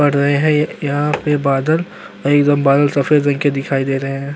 बड रहे हैं ए यहां पे बादल और एकदम बादल सफेद रंग के दिखाई दे रहे है।